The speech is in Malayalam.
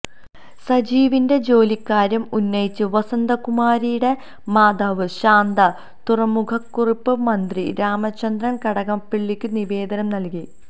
സജീവിന്റെ ജോലിക്കാര്യം ഉന്നയിച്ച് വസന്തകുമാറിന്റെ മാതാവ് ശാന്ത തുറമുഖവകുപ്പ് മന്ത്രി രാമചന്ദ്രന് കടന്നപ്പള്ളിക്കും നിവേദനം നല്കി